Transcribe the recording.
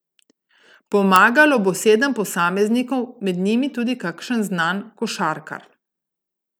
Pomagalo bo sedem posameznikov, med njimi tudi kakšen znan košarkar.